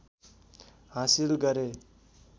हाँसिल गरे